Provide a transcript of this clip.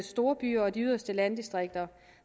storbyer og de yderste landdistrikter